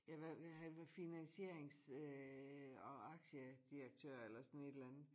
Ja hvad var han var finansierings øh og aktiedirektør eller sådan et eller andet